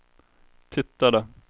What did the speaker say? tittade